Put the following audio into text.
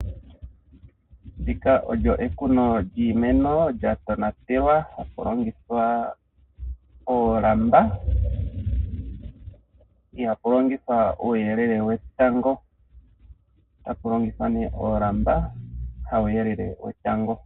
Ndika olyo ekuno lyiimeno lyatonatelwa taku longithwa oolamba ihaku longithwa uuyelele wetango ota pu longithwa ne oolamba hawu yelelele wetango.